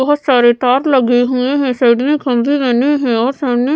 बहोत सारे तार लगे हुए हैं साइड में खम्भे बने हैं और सामने --